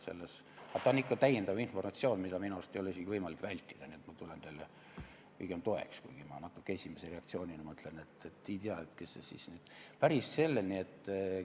See on ikka lisainformatsioon, mida minu arust ei ole isegi võimalik vältida, nii et ma tulen teile pigem toeks, kuigi ma esimese reaktsioonina ütlen, et täpselt ei teagi.